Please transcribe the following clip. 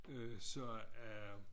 Og så er